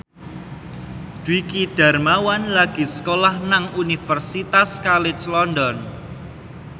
Dwiki Darmawan lagi sekolah nang Universitas College London